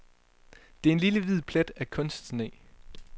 Det er en lille hvid plet af kunstsne.